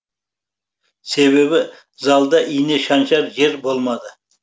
себебі залда ине шаншар жер болмады